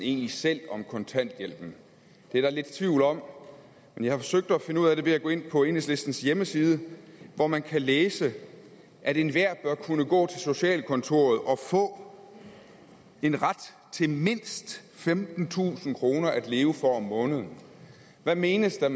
egentlig selv om kontanthjælpen det er der lidt tvivl om men jeg har forsøgt at finde ud af det ved at gå ind på enhedslistens hjemmeside hvor man kan læse enhver bør kunne gå til socialkontoret og få en ret til mindst femtentusind kroner at leve for om måneden hvad menes der